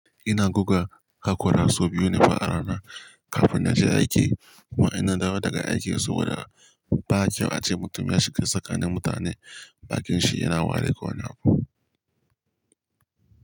Ina guga hakora sau biyu ne fa a rana kafin na je aiki kuma in na dawo daga aiki saboda ba kyau ace mutum yashiga tsakanin mutane, bakin shi yana wari ko wani abu.